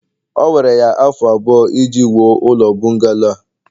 o were ya afọ abụọ iji wuo ụlọ bungalo a